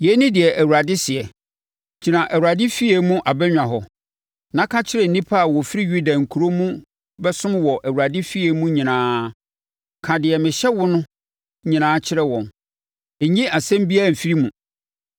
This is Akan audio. “Yei ne deɛ Awurade seɛ: Gyina Awurade efie mu abannwa hɔ, na ka kyerɛ nnipa a wɔfiri Yuda nkuro mu bɛsom wɔ Awurade efie mu nyinaa. Ka deɛ mehyɛ wo no nyinaa kyerɛ wɔn; nnyi asɛm biara mfiri mu.